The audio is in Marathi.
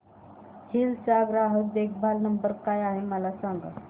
हिल्स चा ग्राहक देखभाल नंबर काय आहे मला सांग